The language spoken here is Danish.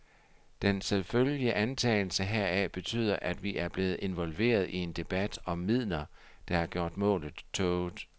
Den selvfølgelige antagelse heraf betyder, at vi er blevet involveret i en debat om midler, der har gjort målet tåget.